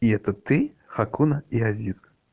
и это ты хакуна и азиз